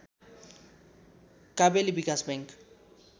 Kabeli Bikas bank